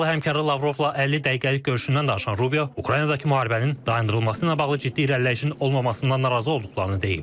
Rusiyalı həmkarı Lavrovla 50 dəqiqəlik görüşündən danışan Rubio Ukraynadakı müharibənin dayandırılması ilə bağlı ciddi irəliləyişin olmamasından narazı olduqlarını deyib.